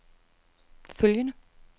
følgende